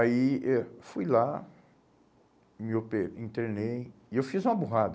Aí eh fui lá, me ope, internei e eu fiz uma burrada.